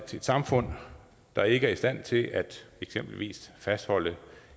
samfund der ikke er i stand til eksempelvis at fastholde